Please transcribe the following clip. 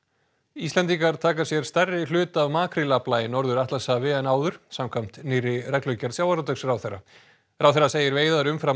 Íslendingar taka sér stærri hlut af makrílafla í Norður Atlantshafi en áður samkvæmt nýrri reglugerð sjávarútvegsráðherra ráðherra segir veiðar umfram